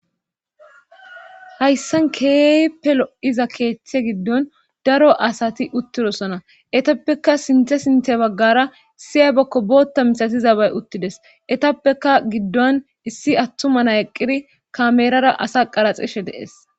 hayssan keehipe lo7iza keeththe giddon daro asati uttidosona etappeka sinthe sinthe baggara siya bokko bootta misatizabay uttides etappeka giddon issi attumana eqqiri kameerara asa qaraxishe dees